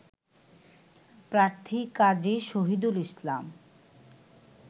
প্রার্থী কাজী শহিদুল ইসলাম